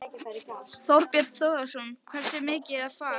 Þorbjörn Þórðarson: Hversu mikið ofar?